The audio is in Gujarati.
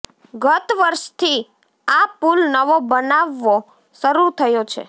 ગત વર્ષથી આ પુલ નવો બનાવવો શરૃ થયો છે